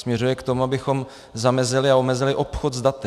Směřuje k tomu, abychom zamezili a omezili obchod s daty.